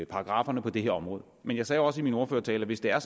paragrafferne på det her område men jeg sagde også i min ordførertale at hvis det er